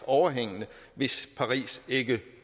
overhængende hvis paris ikke